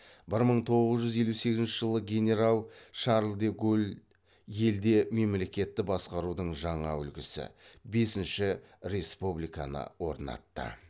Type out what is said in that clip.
бір мың тоғыз жүз елу сегізінші жылы генерал шарль де голль елде мемлекетті басқарудың жаңа үлгісі бесінші республиканы орнатты